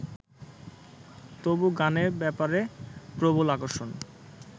তবু গানের ব্যাপারে প্রবল আকর্ষণ